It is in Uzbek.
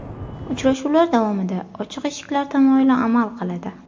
Uchrashuvlar davomida ochiq eshiklar tamoyili amal qiladi.